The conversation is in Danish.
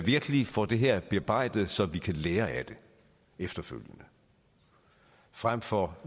virkelig får det her bearbejdet så vi kan lære af det efterfølgende frem for